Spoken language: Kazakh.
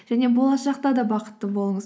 және болашақта да бықытты болыңыз